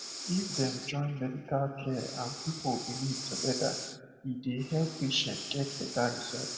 if dem join medical care and people belief together e dey help patients get better result